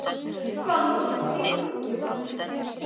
Svanþór, hvað heitir þú fullu nafni?